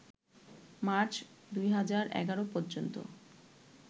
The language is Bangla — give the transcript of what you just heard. মার্চ ২০১১ পর্যন্ত